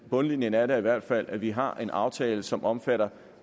bundlinjen er da i hvert fald at vi har en aftale som omfatter